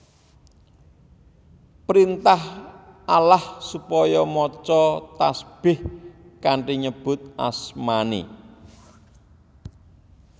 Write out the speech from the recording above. Printah Allah supaya maca tasbih kanthi nyebut asmaNé